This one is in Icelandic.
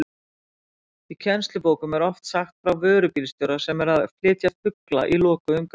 Í kennslubókum er oft sagt frá vörubílstjóra sem er að flytja fugla í lokuðum gámi.